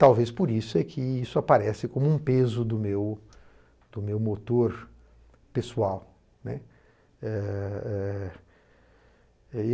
Talvez por isso que isso aparece como um peso do do meu motor pessoal, né. Eh eh